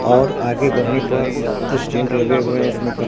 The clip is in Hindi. और आगे बढ़ने पर स्टैंड लगे हुए हैं उसमें क--